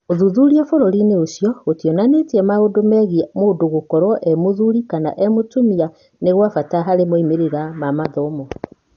ũthuthuria bũrũri-inĩ ũcio gũtionanirie atĩ maũndũ megiĩ mũndũ gũkorwo e-mũthuri kama e-mũtumia nĩ gwa bata harĩ moimĩrĩra ma mathomo.